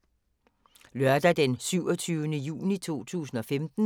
Lørdag d. 27. juni 2015